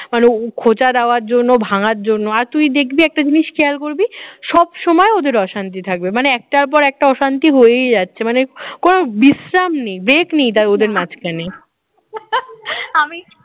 ও খোঁচা দেওয়ার জন্য ভাঙার জন্য আর তুই দেখবি একটা জিনিস খেয়াল করবি সব সময় ওদের অশান্তি থাকবে মানে একটার পর একটা অশান্তি হয়েই যাচ্ছে মানে কোন বিশ্রাম নেই break নেই ওদের মাঝখানে আমি